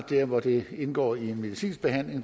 der hvor det indgår i en medicinsk behandling